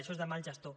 això és de mal gestor